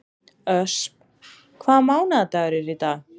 Ösp, hvaða mánaðardagur er í dag?